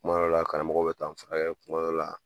Kuma dɔ la karamɔgɔ bɛ danfara kɛ, kuma dɔ la